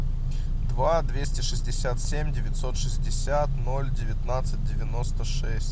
два двести шестьдесят семь девятьсот шестьдесят ноль девятнадцать девяносто шесть